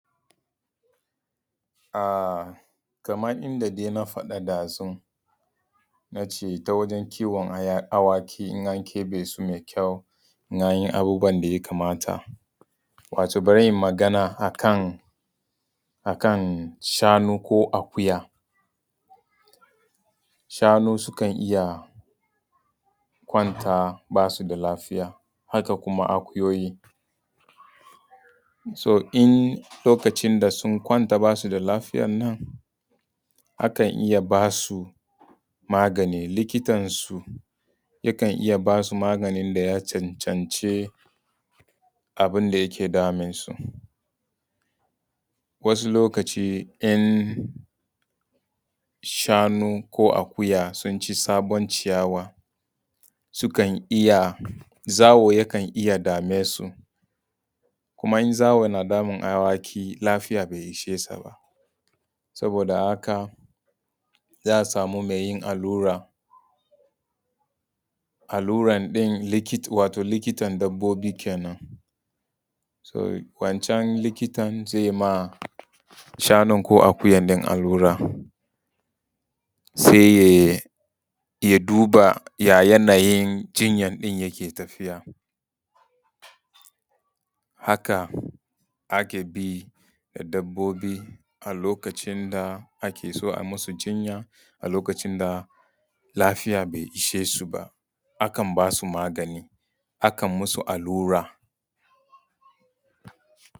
A kamar inda dai na faɗa ɗazu na ce ta wajan kiwon awaki in an keɓe su da kyau in an yi abubuwa da ya kamata. Wato bari in magana a kan shanu ko akuya. Shanu sukan iya kwanta ba su da lafiya haka kuma akuyoyi. So in lokacin da sun kwanta ba su da lafiya nan akan iya ba su magani, likitansu yakan iya ba su maganin da ya cancanci abin da yake damun su. Wasu lokacin in shanu ko akuya sun ci sabon ciyawa sukan iya zawo yakan iya dame su. Kuma in zawo yana damun awaki lafiya bai ishe su ba. Saboda haka za a samu mai yin allura, alluran ɗin wato likitan dabobi kenan. So wancan likitan zai ma shanu ko akuya ɗin allura sai ya duba ya yanayin jinya ɗin yake tafiya haka ake bi da dabobi a lokacin da ake so a masu jinya a lokacin da lafiya bai ishe su ba akan ba su maganin akan masu allura.